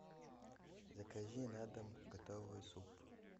закажи на дом готовый суп